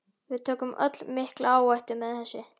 Við tökum öll mikla áhættu með þessu.